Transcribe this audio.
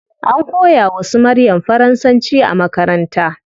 An koya wa su maryam faransanci a makaranta